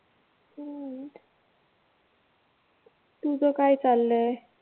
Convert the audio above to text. हम्म तुझं काय चाललंय?